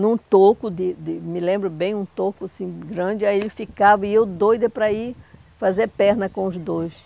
num toco, de de me lembro bem, um toco assim, grande, aí ele ficava e eu doida para ir fazer perna com os dois.